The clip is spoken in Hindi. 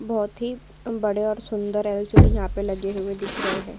बहुत ही बड़े और सुंदर एल.सी.डी. यहां पर लगे हुए दिख रहे हैं।